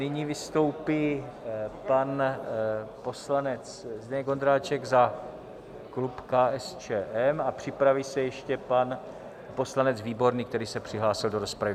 Nyní vystoupí pan poslanec Zdeněk Ondráček za klub KSČM a připraví se ještě pan poslanec Výborný, který se přihlásil do rozpravy.